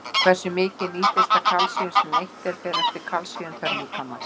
Hversu mikið nýtist af því kalsíum sem neytt er, fer eftir kalsíumþörf líkamans.